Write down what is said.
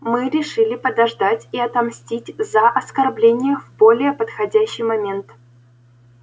мы решили подождать и отомстить за оскорбление в более подходящий момент